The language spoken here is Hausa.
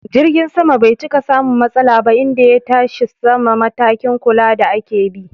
Jirgin sama bai cika samun matsala ba inda ya tashi sama, matakin kula da ake bi